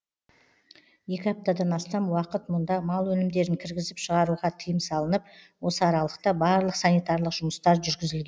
екі аптадан астам уақыт мұнда мал өнімдерін кіргізіп шығаруға тыйым салынып осы аралықта барлық санитарлық жұмыстар жүргізіл